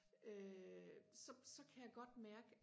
øh så så kan jeg godt mærke